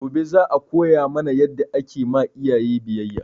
Gobe za a koya mana yadda ake ma iyaye biyayya